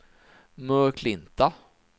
Möklinta